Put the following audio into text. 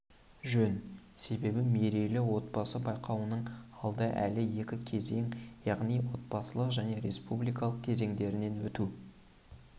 жөн себебі мерейлі отбасы байқауының алда әлі екі кезең яғни облыстық және республикалық кезеңдерінен өтуі